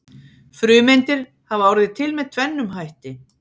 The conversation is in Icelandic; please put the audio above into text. Frumeindir hafa orðið til með tvennum hætti.